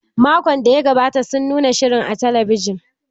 Makon da ya gabata sun nuna shirin a talabijin.